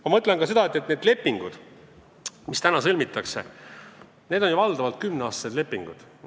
Ma mõtlen ka seda, et need lepingud, mis praegu sõlmitakse, on ju valdavalt kümneaastased lepingud.